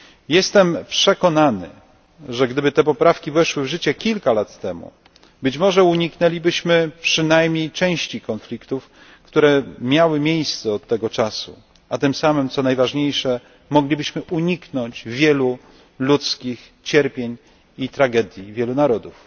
Jestem przekonany, że gdyby te poprawki weszły w życie kilka lat temu, być może uniknęlibyśmy przynajmniej części konfliktów, które miały miejsce od tego czasu, a tym samym, co najważniejsze, moglibyśmy uniknąć wielu ludzkich cierpień i tragedii wielu narodów.